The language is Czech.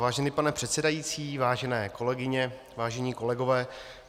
Vážený pane předsedající, vážené kolegyně, vážení kolegové.